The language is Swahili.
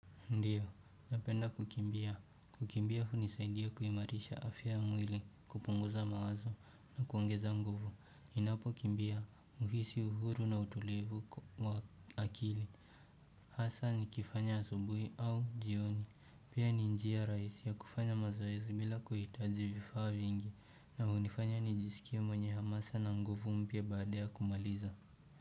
Ndiyo, napenda kukimbia. Kukimbia hunisaidia kuimarisha afya ya mwili, kupunguza mawazo na kuongeza nguvu. Ninapokimbia, uhisi uhuru na utulivu wa akili. Hasa nikifanya asubuhi au jioni. Pia ni njia rahisi ya kufanya mazoezi bila kuhitaji vifaa vingi na hunifanya nijisikia mwenye hamasa na nguvu mpya baada ya kumaliza.